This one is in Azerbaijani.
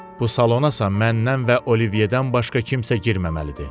Bu salona isə məndən və Oliviyedən başqa kimsə girməməlidir.